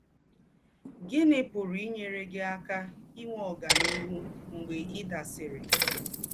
Gíní pùrù ínyérè gí àká ìnwé ọ́ganíhù mgbè ì̀ dàsìrì?